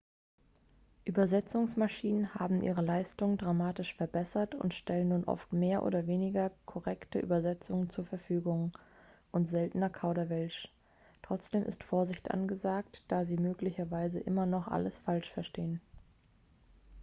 übersetzungsmaschinen haben ihre leistung dramatisch verbessert und stellen nun oft mehr oder weniger korrekte übersetzungen zur verfügung und seltener kauderwelsch. trotzdem ist vorsicht angesagt da sie möglicherweise immer noch alles falsch verstehen